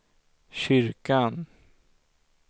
kyrkan